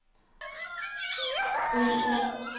Bryrup